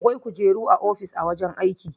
Akwai kujeru a ofis a wajen aiki.